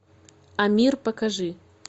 амир покажи